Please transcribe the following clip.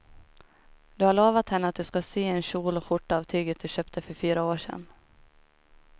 Du har lovat henne att du ska sy en kjol och skjorta av tyget du köpte för fyra år sedan.